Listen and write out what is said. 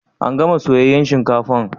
An gana Soyayyan shinkafan?